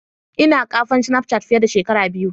Ina kafan snapchat fiye da shekara biyu.